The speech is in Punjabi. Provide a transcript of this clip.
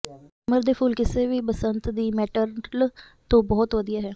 ਸੰਗਮਰਮਰ ਦੇ ਫੁੱਲ ਕਿਸੇ ਵੀ ਬਸੰਤ ਦੀ ਮੈਟਰਲ ਤੋਂ ਬਹੁਤ ਵਧੀਆ ਹਨ